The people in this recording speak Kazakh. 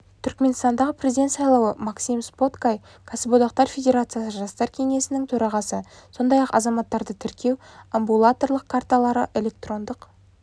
түрікменстандағы президент сайлауы максим споткай кәсіподақтар федерациясы жастар кеңесінің төрағасы сондай-ақ азаматтарды тіркеу амбулаторлық карталары электрондық